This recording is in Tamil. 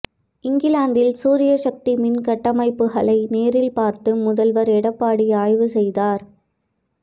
இங்கிலாந்தில் சூரிய சக்தி மின்கட்டமைப்புகளை நேரில் பார்த்து முதல்வர் எடப்பாடி ஆய்வு செய்தார்